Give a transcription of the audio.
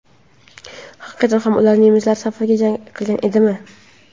Haqiqatan ham ular nemislar safida jang qilgan edimi?